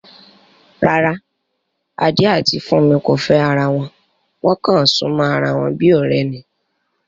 Rárá, Adé àti Fúnmi kò fẹ́ ara wọn, wọ́n kàn súnmọ́ ara wọn bí ọ̀rẹ́ ni